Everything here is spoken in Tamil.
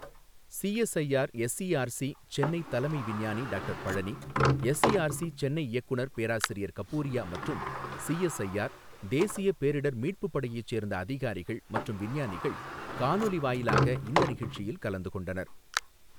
சிஎஸ்ஐஆர் எஸ்ஈஆர்சி, சென்னை, தலைமை விஞ்ஞானி டாக்டர் பழனி, எஸ்ஈஆர்சி, சென்னை, இயக்குநர் பேராசிரியர் கபூரியா மற்றும் சிஎஸ்ஐஆர், தேசிய பேரிடர் மீட்புப் படையைச் சேர்ந்த அதிகாரிகள் மற்றும் விஞ்ஞானிகள் காணொலி வாயிலாக இந்த நிகழ்ச்சியில் கலந்து கொண்டனர்.